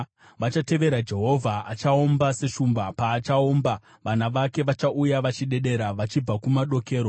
Vachatevera Jehovha; achaomba seshumba. Paachaomba, vana vake vachauya vachidedera vachibva kumadokero.